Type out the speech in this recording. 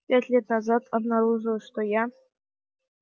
пять лет назад обнаружилось что я